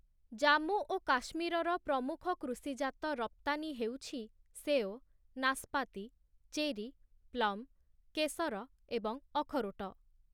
ଜାମ୍ମୁ ଓ କାଶ୍ମୀରର ପ୍ରମୁଖ କୃଷିଜାତ ରପ୍ତାନୀ ହେଉଛି ସେଓ, ନାଶପାତି, ଚେରୀ, ପ୍ଳମ୍‌, କେଶର ଏବଂ ଅଖରୋଟ ।